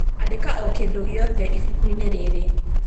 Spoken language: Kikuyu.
Andĩka o kĩndũ gĩothe ibuku-inĩrĩrĩ.